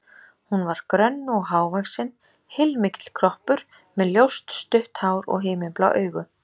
Hún var grönn og hávaxin, heilmikill kroppur, með ljóst, stutt hár og himinblá augu.